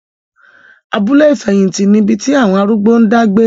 Abúlé ìfẹ̀hìtì ni ibi tí àwọn arúgbó ń dá gbé.